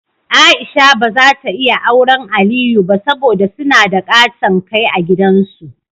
Aisha ba zata iya awren Aliyu ba, saboda suna da ƙaton Kai a gidan su.